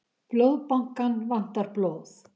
Blóðbankann vantar blóð